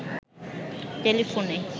টেলিফোনে